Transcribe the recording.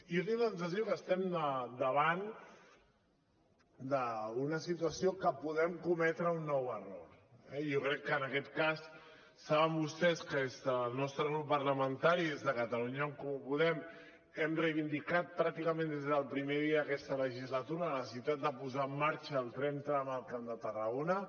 i jo tinc la sensació que estem davant d’una situació en què podem cometre un nou error eh i jo crec que saben vostès que des del nostre grup parlamentari des de catalunya en comú podem hem reivindicat pràcticament des del primer dia d’aquesta legislatura la necessitat de posar en marxa el tren tram al camp de tarragona